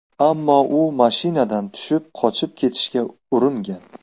Ammo u mashinadan tushib qochib ketishga uringan.